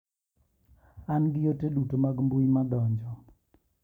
An gi ote duto mag mbui madonjo.